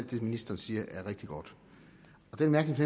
det ministeren siger er rigtig godt og den mærkelige